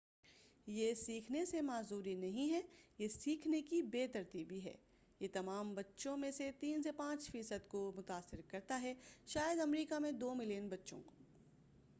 یہ سیکھنے سے معذوری نہیں ہے یہ سیکھنے کی بے ترتیبی ہے یہ تمام بچوں میں سے 3 سے 5 فی صد تک کو متاثر کرتا ہے شاید امریکہ میں 2 ملیئن بچّوں کو